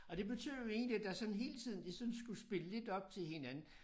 Og det betød jo egentlig at der sådan hele tiden lige sådan skulle spille lidt op til hinanden